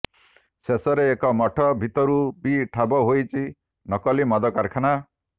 ଶେଷରେ ଏକ ମଠ ଭିତରୁ ବି ଠାବ ହୋଇଛି ନକଲି ମଦ କାରଖାନା